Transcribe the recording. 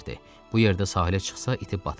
Bu yerdə sahilə çıxsa itib batmaz.